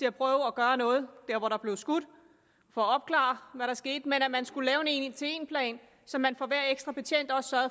at prøve at gøre noget der hvor der blev skudt og for at opklare hvad der skete men at man skulle lave en en til en plan så man for hver ekstra betjent også